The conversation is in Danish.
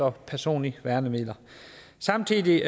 og personlige værnemidler samtidig